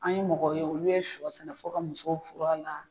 An ye mɔgɔ ye olu ye shɔ sɛnɛ fo ka musɔw furu a la.